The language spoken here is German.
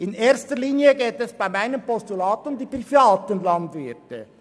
In erster Linie geht es in meinem Postulat um die privaten Landwirte.